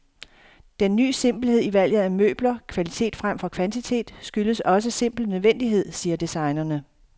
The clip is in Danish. Den ny simpelhed i valget af møbler, kvalitet fremfor kvantitet, skyldes også simpel nødvendighed, siger designerne.